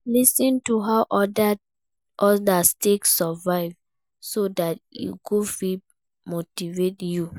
Lis ten to how others take survive so that e go fit motivate you